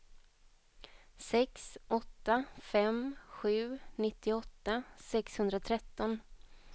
sex åtta fem sju nittioåtta sexhundratretton